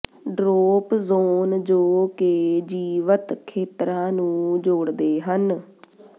drop zone ਜੋ ਕਿ ਜੀਵਤ ਖੇਤਰਾਂ ਨੂੰ ਜੋੜਦੇ ਹਨ